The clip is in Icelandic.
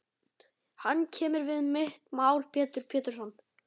Hann kemur við mitt mál Pétur Pétursson.